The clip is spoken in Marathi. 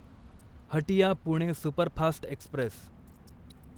Hatia Pune superfast Express